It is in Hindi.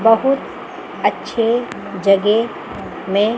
बहुत अच्छे जगे में--